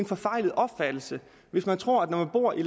forfejlet opfattelse hvis man tror at når man bor i